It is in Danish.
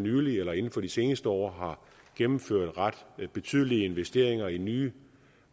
nylig eller inden for de seneste år har gennemført ret betydelige investeringer i nye